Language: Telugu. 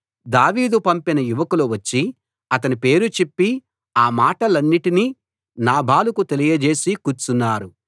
దావీదు పంపిన యువకులు వచ్చి అతని పేరు చెప్పి ఆ మాటలన్నిటినీ నాబాలుకు తెలియజేసి కూర్చున్నారు